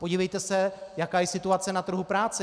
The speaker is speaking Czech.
Podívejte se, jaká je situace na trhu práce.